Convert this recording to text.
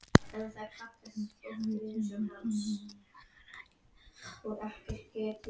Þau gerðu tilboð samdægurs en voru ekki ein um það.